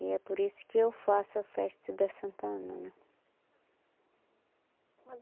E é por isso que eu faço a festa da Santa Ana, né?